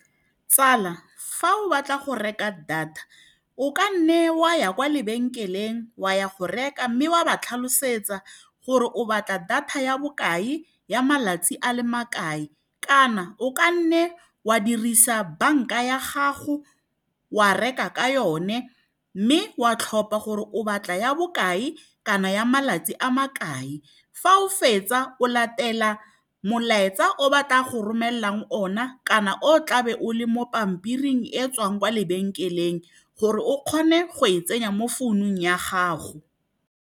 Tsala, fa o batla go reka data o ka nne o a ya kwa lebenkeleng wa go reka, mme wa ba tlhalosetsa gore o batla data ya bokae ya malatsi a le makae, kana o kanne wa dirisa banka ya gago wa reka ka yone, mme wa tlhopha gore o batla ya bokae kana ya malatsi a makae. Fa o fetsa, o latela molaetsa o batla go romelelang o na, kana o tla be o le mo pampiring e tswang kwa lebenkeleng gore o kgone go e tsenya mo founung ya gago.